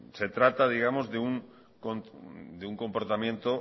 se trata de un comportamiento